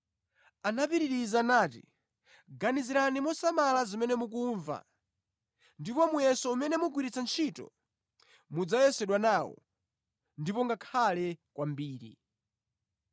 Anapitiriza nati, “Ganizirani mosamala zimene mukumva, ndi muyeso umene mugwiritsa ntchito, mudzayesedwa nawo, ndipo ngakhale kwambiri.